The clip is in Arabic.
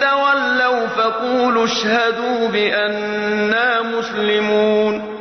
تَوَلَّوْا فَقُولُوا اشْهَدُوا بِأَنَّا مُسْلِمُونَ قُلْ يَا أَهْلَ الْكِتَابِ تَعَالَوْا إِلَىٰ كَلِمَةٍ سَوَاءٍ بَيْنَنَا وَبَيْنَكُمْ أَلَّا نَعْبُدَ إِلَّا اللَّهَ وَلَا نُشْرِكَ بِهِ شَيْئًا وَلَا يَتَّخِذَ بَعْضُنَا بَعْضًا أَرْبَابًا مِّن دُونِ اللَّهِ ۚ فَإِن تَوَلَّوْا فَقُولُوا اشْهَدُوا بِأَنَّا مُسْلِمُونَ